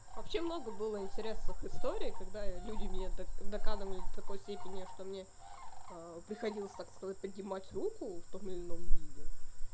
вообще много было интересных историй когда люди мне докладывали такой степени что мне приходилось так сказать поднимать руку в том или ином виде